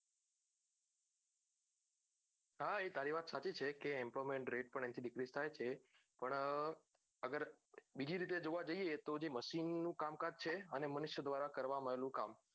હા એ તારી વાત સાચી છે કે employment rate પણ dicrise થાયે છે પણ અગર બીજી રીતે જોવા જઈએ જે machine કામ કાજ છે અને મનુષ્ય ધ્વારા કરવામાં આવ્યું કામ